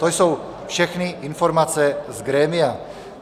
To jsou všechny informace z grémia.